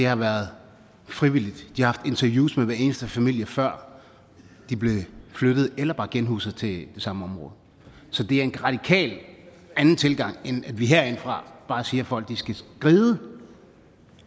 har været frivilligt de har haft interviews med hver eneste familie før de blev flyttet eller bare genhuset til det samme område så det er en radikalt anden tilgang end at vi herindefra bare siger at folk skal skride